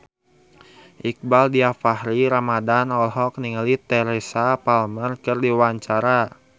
Iqbaal Dhiafakhri Ramadhan olohok ningali Teresa Palmer keur diwawancara